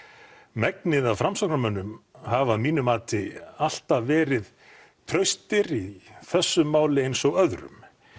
megnið af Framsóknarmönnum hafa að mínu mati alltaf verið traustir í þessu máli eins og öðru